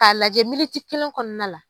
K'a lajɛ militi kelen kɔnɔna la.